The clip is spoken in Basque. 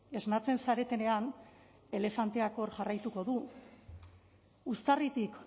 esnatzen zaretenean elefanteak hor jarraituko du uztarritik